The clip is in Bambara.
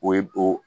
O ye o